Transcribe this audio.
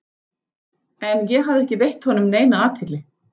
En ég hafði ekki veitt honum neina athygli.